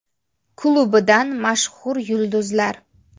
Klubidan mashhur yulduzlar.